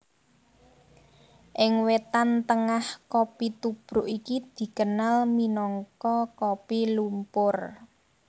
Ing Wétan Tengah kopi tubruk iki dikenal minangka kopi lumpur